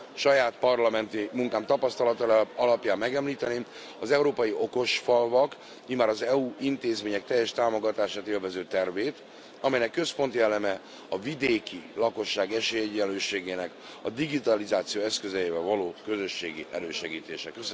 Saját parlamenti munkám tapasztalata alapján megemlíteném az európai okos falvak immár az EU intézmények teljes támogatását élvező tervét, amelynek központi eleme a vidéki lakosság esélyegyenlőségének a digitalizáció eszközeivel való közösségi elősegítése.